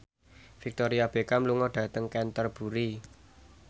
Victoria Beckham lunga dhateng Canterbury